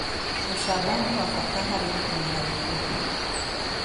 Ũcamba nĩ wa bata harĩ gũkinyĩra mĩoroto.